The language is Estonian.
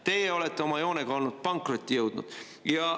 Teie olete oma joonega pankrotti jõudnud.